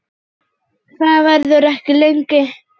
Það verður ekki lengi.